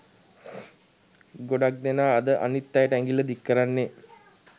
ගොඩක් දෙනා අද අනිත් අයට ඇඟිල්ල දික් කරන්නේ